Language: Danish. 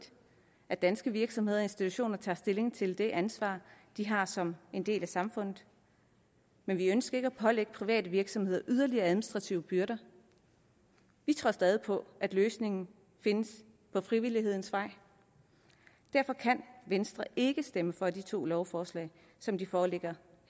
at danske virksomheder og institutioner tager stilling til det ansvar de har som en del af samfundet men vi ønsker ikke at pålægge private virksomheder yderligere administrative byrder vi tror stadig på at løsningen findes ad frivillighedens vej derfor kan venstre ikke stemme for de to lovforslag som de foreligger